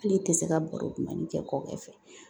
Hali i tɛ se ka baro dumani kɛ kɔkɛ fɛ